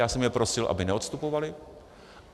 Já jsem je prosil, aby neodstupovali.